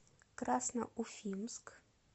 красноуфимск